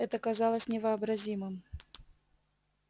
это казалось невообразимым